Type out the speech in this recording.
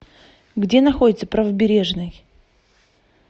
где находится правобережный